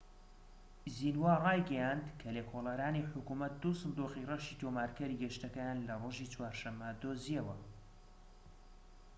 زینوا ڕایگەیاند کە لێکۆڵەرانی حکومەت دوو سندوقی ڕەشی'تۆمارکەری گەشتەکەیان لە ڕۆژی چوارشەممە دۆزیەوە